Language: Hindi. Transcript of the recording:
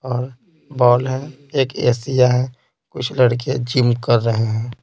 और बॉल है एक एशिया है कुछ लड़के जिम कर रहे हैं।